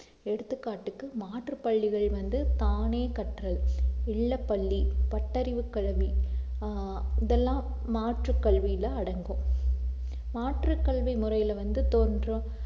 எடுத்துக்காட்டுக்கு மாற்றுப் பள்ளிகள் வந்து தானே கற்றல், இல்லப்பள்ளி, பட்டறிவு கல்வி ஆஹ் இதெல்லாம் மாற்றுக் கல்வியிலே அடங்கும் மாற்றுக் கல்வி முறையிலே வந்து தோன்றும்